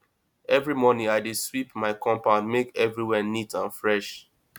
every morning i dey sweep my compound make everywhere neat and fresh